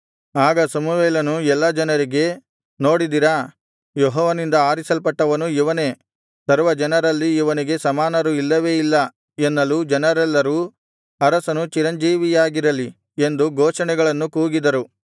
ಆಗ ಸಮುವೇಲನು ಎಲ್ಲಾ ಜನರಿಗೆ ನೋಡಿದಿರಾ ಯೆಹೋವನಿಂದ ಆರಿಸಲ್ಪಟ್ಟವನು ಇವನೇ ಸರ್ವಜನರಲ್ಲಿ ಇವನಿಗೆ ಸಮಾನರು ಇಲ್ಲವೇ ಇಲ್ಲ ಎನ್ನಲು ಜನರೆಲ್ಲರೂ ಅರಸನು ಚಿರಂಜೀವಿಯಾಗಿರಲಿ ಎಂದು ಘೋಷಣೆಗಳನ್ನು ಕೂಗಿದರು